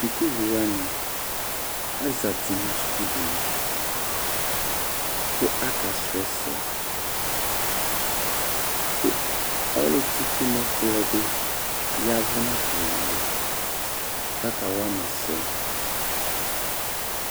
Sukuvi wani azati nu sukudini ku aka srɔɛsɛ ku ɔlu tsitsu n'ɛkplɔɛ bi yavu n' atamìalɔ k'aka wa mà ɛsɛ